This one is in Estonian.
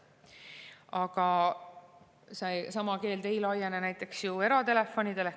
Aga sama keeld ei laiene näiteks eratelefonidele.